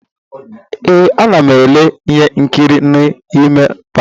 Ee, a na m ele ihe nkiri n'ime palọ.